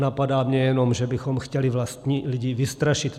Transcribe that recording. Napadá mě jenom, že bychom chtěli vlastní lidi vystrašit.